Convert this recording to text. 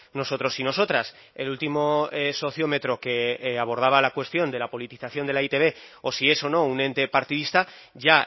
nosotros y nosotras el último sociómetro que abordaba la cuestión de la politización de la e i te be o si es o no un ente partidista ya